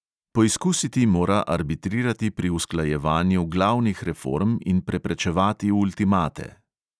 Poizkusiti mora arbitrirati pri usklajevanju glavnih reform in preprečevati ultimate.